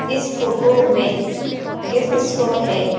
इस फ़ोटो में gift store है।